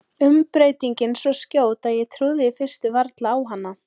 Umbreytingin svo skjót að ég trúði í fyrstu varla á hana.